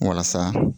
Walasa